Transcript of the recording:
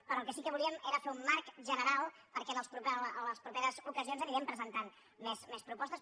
però el que sí que volíem era fer un marc general per·què en les properes ocasions anirem presentant més propostes